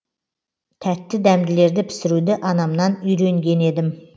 тәтті дәмділерді пісіруді анамнан үйренген едім